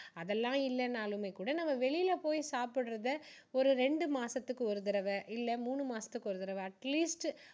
அதெல்லாம் இல்லைன்னாலுமே கூட நம்ம வெளிய போய் சாப்பிடுறதை ஒரு ரெண்டு மாசத்துக்கு ஒரு தடவை இல்ல மூணு மாசத்துக்கு ஒரு தடவை atleast